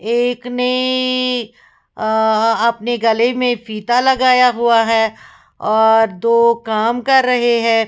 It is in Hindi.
एक नैएएए अअअ अपने गले में फीता लगाया हुआ है और दो काम कर रहे हैं।